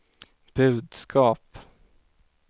budskap